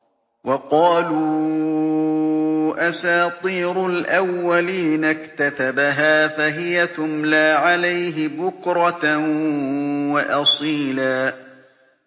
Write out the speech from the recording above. وَقَالُوا أَسَاطِيرُ الْأَوَّلِينَ اكْتَتَبَهَا فَهِيَ تُمْلَىٰ عَلَيْهِ بُكْرَةً وَأَصِيلًا